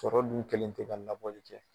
Sɔrɔ dun kɛlen tɛ ka labɔli kɛ.